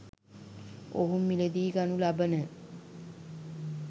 ඔවුන් මිලදී ගනු ලබන